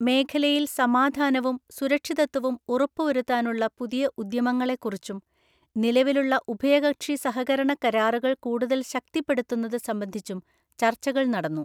മേഖലയില്‍ സമാധാനവും, സുരക്ഷിതത്വവും ഉറപ്പുവരുത്താനുള്ള പുതിയ ഉദ്യമങ്ങളെക്കുറിച്ചും നിലവിലുള്ള ഉഭയകക്ഷിസഹകരണകരാറുകള്‍ കൂടുതല്‍ ശക്തിപ്പെടുത്തുന്നത് സംബന്ധിച്ചും ചര്ച്ചകള്‍ നടന്നു.